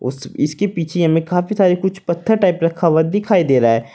उस इसके पीछे हमें काफी सारे कुछ पत्थर टाइप रखा हुआ दिखाई दे रहा है।